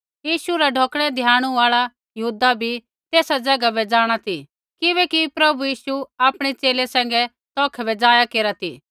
यीशु रा ढौकणै धियाणु आल़ा यहूदा भी तेसा ज़ैगा बै जाँणा ती किबैकि प्रभु यीशु आपणै च़ेले सैंघै तौखै बै जाया केरा ती